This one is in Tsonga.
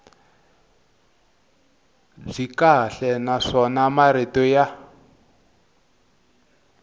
byi kahle naswona marito ya